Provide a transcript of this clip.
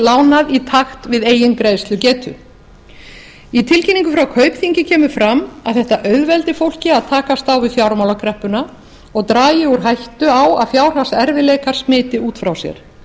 lánað í takt við eigin greiðslugetu í tilkynningu frá kaupþingi kemur fram að þetta auðveldi fólki að takast á við fjármálakreppuna og dragi úr hættu á að fjárhagserfiðleikar smiti út frá sér